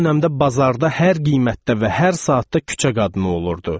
O dövrdə bazarda hər qiymətdə və hər saatda küçə qadını olurdu.